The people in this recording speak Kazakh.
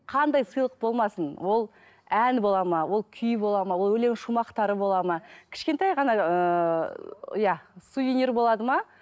қандай сыйлық болмасын ол ән бола ма ол күй бола ма ол өлең шумақтары болады ма кішкентай ғана ыыы иә сувенир болады ма